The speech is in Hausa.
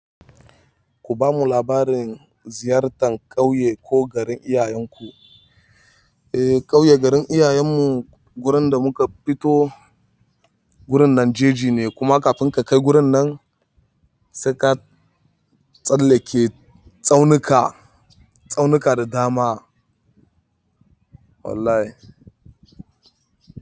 Ku bamu labarin ziyartar ƙauye ko garin iyayenku. E, ƙauye garin iyayen mu wurin da muka fito wurin Nanjeji ne kuma kafin ka kai wurin nan sai ka tsallake tsaunuka, tsaunuka da dama wallahi.